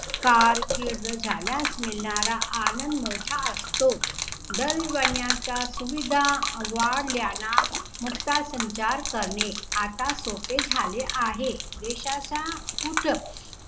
कारकीर्द झाल्यास मिळणारा आनंद मोठा असतो. दल बदलाचा सुविधा वाढल्यानं मुक्ता संचार करणे आता सोपे झाले आहे. देशाचा कुट